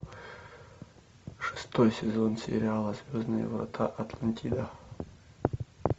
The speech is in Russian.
шестой сезон сериала звездные врата атлантида